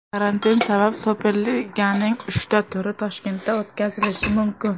Karantin sabab Superliganing uchta turi Toshkentda o‘tkazilishi mumkin !